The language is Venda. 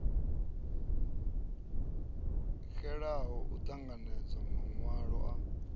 xelaho u ṱanganedza maṅwalo a